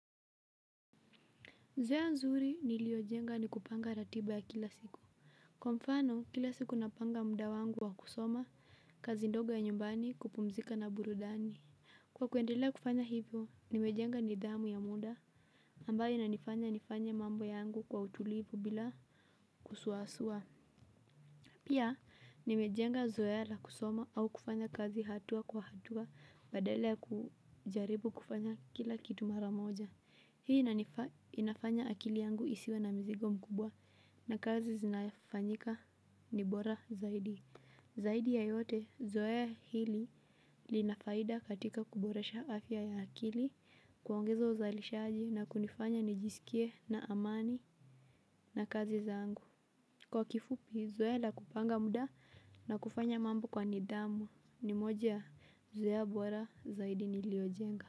Zoea nzuri niliyojenga ni kupanga ratiba ya kila siku. Kwa mfano, kila siku napanga muda wangu wa kusoma kazi ndogo ya nyumbani kupumzika na burudani. Kwa kuendelea kufanya hivyo, nimejenga nidhamu ya muda ambayo inanifanya nifanye mambo yangu kwa utulivu bila kusuasua. Pia, nimejenga zoea la kusoma au kufanya kazi hatua kwa hatua badala ya kujaribu kufanya kila kitu mara moja. Hii inafanya akili yangu isiwe na mzigo mkubwa na kazi zinafanyika ni bora zaidi. Zaidi ya yote, zoea hili lina faida katika kuboresha afya ya akili, kuongeza uzalishaji na kunifanya nijiskie na amani na kazi zangu. Kwa kifupi, zoea la kupanga muda na kufanya mambo kwa nidhamu ni moja zoea bora zaidi niliojenga.